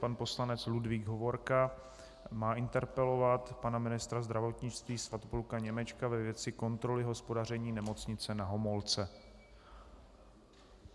Pan poslanec Ludvík Hovorka má interpelovat pana ministra zdravotnictví Svatopluka Němečka ve věci kontroly hospodaření Nemocnice na Homolce.